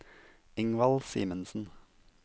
Ingvald Simensen